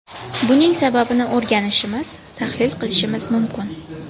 Buning sababini o‘rganishimiz, tahlil qilishimiz mumkin.